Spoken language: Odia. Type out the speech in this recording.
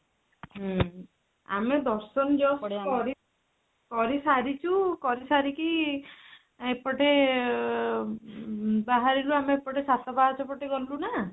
ହୁଁ ଆମେ ଦର୍ଶନ just କରି କରିସାରିଚୁ କରିସାରିକି ଏପଟେ ଅଁ ବାହାରିଲୁ ଆମେ ଏପଟେ ସାତ ପାହାଚ ପଟେ ଗଲୁ ନା